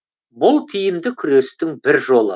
бұл тиімді күрестің бір жолы